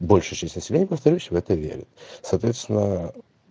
большая часть населения повторюсь в это верит соответственно